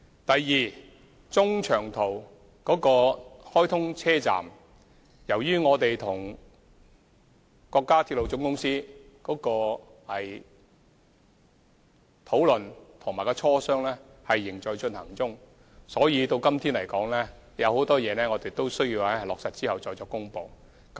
第二，關於中長途直達站，由於我們跟中國鐵路總公司的討論和磋商仍在進行中，所以今天仍有很多事宜須在落實後才可作公布。